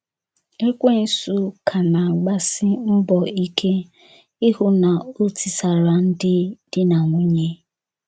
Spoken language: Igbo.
Ekwensu ka na - agbasi mbọ ike ịhụ na o tisara ndị di na nwunye.